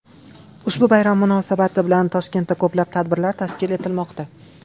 Ushbu bayram munosabati bilan Toshkentda ko‘plab tadbirlar tashkil etilmoqda.